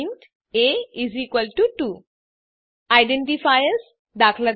int એ2 identifiers દા